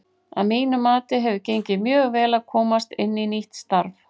Að mínu mati hefur gengið mjög vel að komast inn í nýtt starf.